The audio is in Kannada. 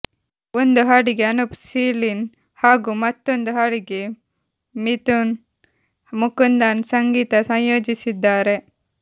ಒಂದು ಹಾಡಿಗೆ ಅನೂಪ್ ಸೀಳಿನ್ ಹಾಗೂ ಮತ್ತೊಂದು ಹಾಡಿಗೆ ಮಿದುನ್ ಮುಕುಂದನ್ ಸಂಗೀತ ಸಂಯೋಜಿಸಿದ್ದಾರೆ